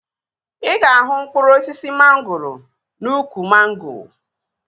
Ị ga-ahụ mkpụrụ osisi mangoro n'úkwù mango